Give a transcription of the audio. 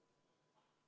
Ettepanek leidis toetust.